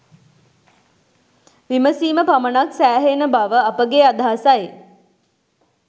විමසීම පමණක් සෑහෙන බව අපගේ අදහසයි.